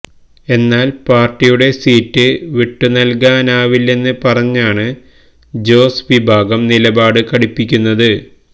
എന്നാൽ പാർട്ടിയുടെ സീറ്റ് വിട്ടുനൽകാനാവില്ലെന്ന് പറഞ്ഞാണ് ജോസ് വിഭാഗം നിലപാട് കടുപ്പിക്കുന്നത്